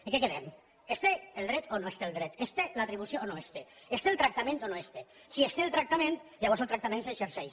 en què quedem se’n té el dret o no se’n té el dret se’n té l’atribució o no se’n té se’n té el tractament o no se’n té si se’n té el tractament llavors el tractament s’exerceix